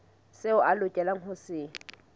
seo a lokelang ho se